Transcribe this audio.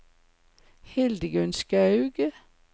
Hildegunn Skaug